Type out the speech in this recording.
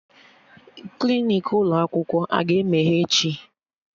Klinik ụlọ akwụkwọ aga emeghe echi?